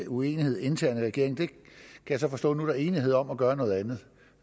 uenighed internt i regeringen kan jeg så forstå at der nu er enighed om at gøre noget andet